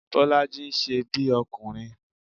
Bọ́lájí ń ṣe bí ọkùnrin